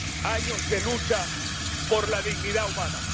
años de lucha por la dignidad humana.